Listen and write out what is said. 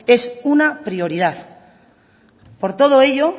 es una prioridad por todo ello